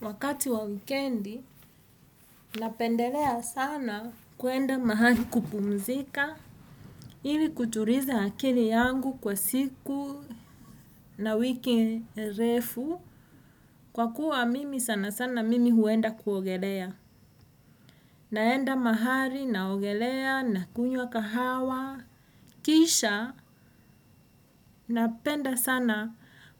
Wakati wa wikendi napendelea sana kuenda mahali kupumzika ili kutuliza akili yangu kwa siku na wiki refu kwa mimi sanasana huenda kuogelea. Naenda mahali, naogelea, na kunywa kahawa, kisha, napenda sana